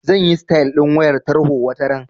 Zan yi sitayal ɗin wayar tarho wataran.